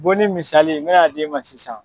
Bonni misali n bɛna a d'i ma sisan.